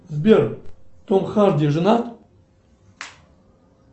сбер том харди женат